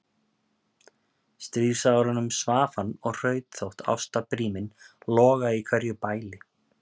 stríðsárunum svaf hann og hraut þótt ástarbríminn logaði í hverju bæli.